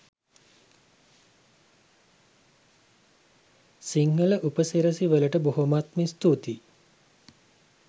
සිංහල උපසිරැසි වලට බොහොමත්ම ස්තූතියි